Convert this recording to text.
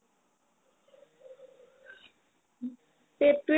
পেটতোয়ে